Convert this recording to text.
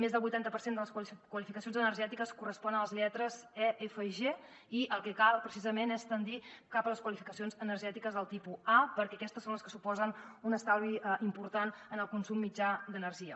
més del vuitanta per cent de les qualificacions energètiques correspon a les lletres e f i g i el que cal precisament és tendir cap a les qualificacions energètiques del tipus a perquè aquestes són les que suposen un estalvi important en el consum mitjà d’energia